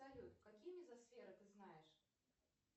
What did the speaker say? салют какие мезосферы ты знаешь